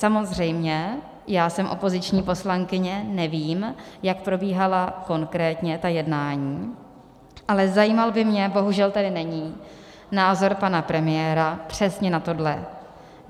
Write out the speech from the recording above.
Samozřejmě já jsem opoziční poslankyně, nevím, jak probíhala konkrétně ta jednání, ale zajímal by mě - bohužel tady není - názor pana premiéra přesně na tohle.